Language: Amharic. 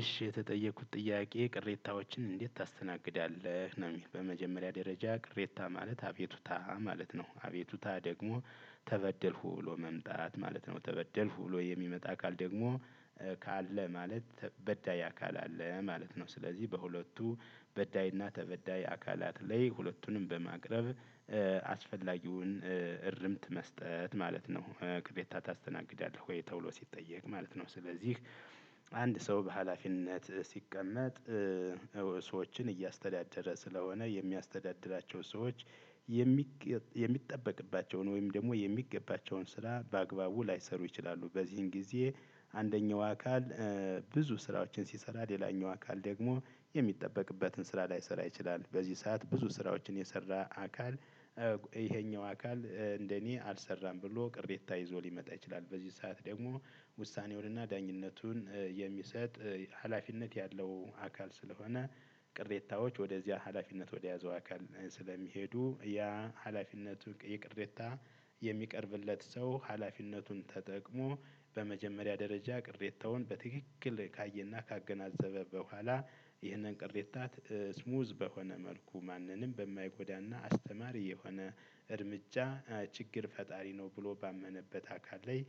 እሺ የተጠየቁት ጥያቄ ቅሬታዎችን እንዴት ታስተናግዳለህ? ነው በመጀመሪያ ደረጃ ቅሬታ ማለት አቤቱታ ማለት ነው አቤቱታ ደግሞ ተበደልኩ ብሎ መምጣት ማለት ነው ተበደልኩ ብሎ የሚመጣ አካል ደግሞ ካለ ማለት በዳይ አካል አለ ማለት ነው። ስለዚህ በሁለቱ በዳይና ተበዳይ አካላት ላይ ሁለቱንም በማቅረብ አስፈላጊውን እርምት መስጠት ማለት ነው። ቅሬታ ታስተናግዳለህ ወይ ተውሎ ሲጠየቅ ማለት ነው። ስለዚህ አንድ ሰው በሃላፊነት ሲቀመጥ ሰዎችን እያስተዳደረ ስለሆነ የሚያስተዳድራቸው ሰዎች የሚገባ የሚጠበቅባቸውን ወይም ደግሞ የሚገባቸውን ስራ በአግባቡ ላይሰሩ ይችላሉ። በዚህም ጊዜ አንደኛው አካል ብዙ ስራዎችን ሲሰራ ሌላኛው አካል ደግሞ የሚጠበቅበትን ስራ ላይሰራ ይችላል በዚህ ሰዓት ብዙ ስራዎችን የሰራ አካል ይሄኛው አካል እንደኔ አልሰራም ብሎ ቅሬታ ይዞ ሊመጣ ይችላል። በዚህ ሰዓት ደግሞ ውሳኔውንና ዳኝነቱን የሚሰጥ ሀላፊነት ያለው አካል ስለሆነ ቅሬታዎች ወደዚያ ሀላፊነት ወደያዘው አካል ስለሚሄዱ ያ ሀላፊነቱ የቅሬታ የሚቀርብለት ሰው ሀላፊነቱን ተጠቅሞ በመጀመሪያ ደረጃ ቅሬታውን በትክክል ካየና ካገናዘበ በኋላ ይህንን ቅሬታ ስሙዝ በሆነ መልኩ ማንንም በማይጎዳና አስተማሪ የሆነ እርምጃ ችግር ፈጣሪ ነው ብሎ ባመነበት አካል ላይ